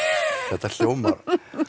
þetta hljómar